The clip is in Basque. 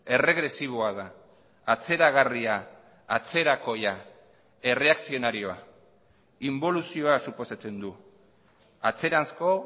erregresiboa da atzeragarria atzerakoia erreakzionarioa inboluzioa suposatzen du atzeranzko